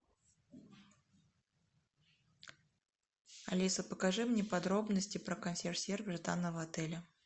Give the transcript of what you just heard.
алиса покажи мне подробности про консьерж сервис данного отеля